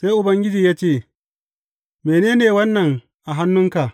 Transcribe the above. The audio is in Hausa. Sai Ubangiji ya ce, Mene ne wannan a hannunka?